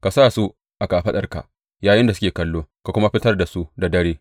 Ka sa su a kafaɗarka yayinda suke kallo ka kuma fitar da su da dare.